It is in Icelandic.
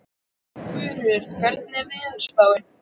Guðríður, hvernig er veðurspáin?